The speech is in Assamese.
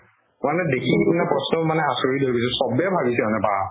মানে দেখি পিনে প্ৰশ্ন মানে আচৰিত হৈ গৈছো চবে ভাবিছে মানে বাহ্ !